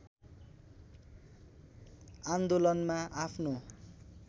आन्दोलनमा आफ्नो